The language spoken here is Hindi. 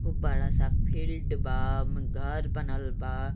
खूब बड़ा स फील्ड बा घर बनल बा।